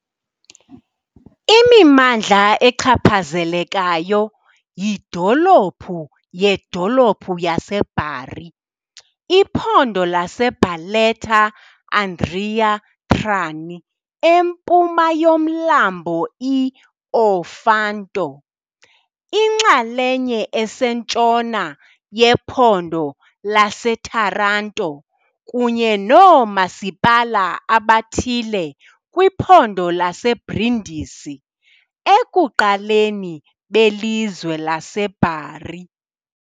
Imimandla echaphazelekayo yidolophu yedolophu yaseBari, iphondo laseBarletta-Andria-Trani empuma yomlambo i -Ofanto, inxalenye esentshona yephondo laseTaranto kunye noomasipala abathile kwiphondo laseBrindisi, ekuqaleni belizwe laseBari .